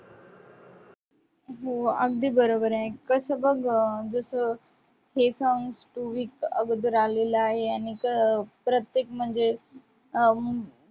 हो, अगदी बरोबर आहे, कसं बघ गं जसं हे song two week अगोदर आलेलं आहे. आणि अं प्रत्येक म्हणजे अं